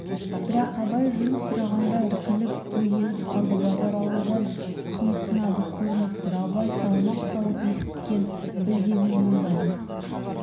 бірақ абай жөн сұрағанда іркіліп бөгеліп қалды базаралыдан қымсынады көрініп тұр абай салмақ салып есіткен-білгеніңнің бәрін